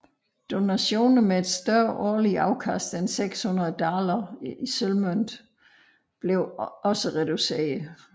Donationer med et større årligt afkast end 600 daler sølvmønt blev også reduceret